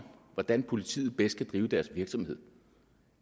hvordan politiet bedst kan drive deres virksomhed